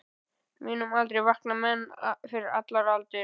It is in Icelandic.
Á mínum aldri vakna menn fyrir allar aldir.